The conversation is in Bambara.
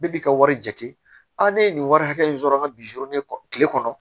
Bɛɛ bi ka wari jate ne ye nin wari hakɛ in sɔrɔ an ka bizoro ne kɔ kile kɔnɔ